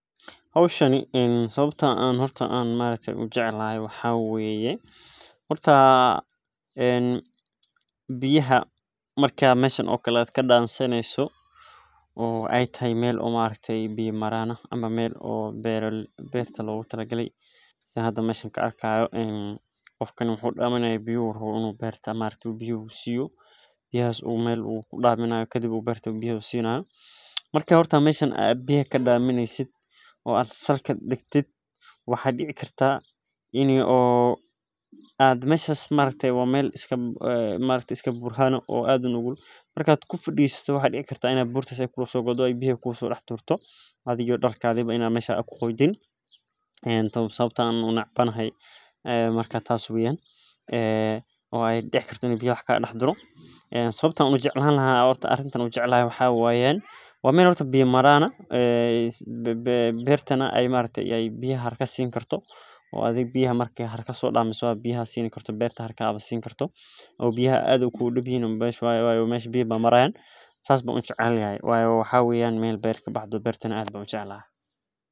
Hoshani sawabta an ujecelahay horta biya marki an kadansaneyso oo etahay meel biya maran ah oo biya logu talagale marka horta meshaan biya kadamineyso marka waxaa dici kartaa in ee burta kula godo waa meel biya maran ah wayo maxaa waye meel beerta kabaxdo beertana aad ban ujeclahay sawabto ah waxena kafarada ee qadhi haysa sameysa erdeyda sawabo owgeed marka hore ardeyda waxee ka faidheysatan fursaad ee ku helan oo ee ka faideystan gadashan tas oo ka cawisa si ee wax u saran diraada.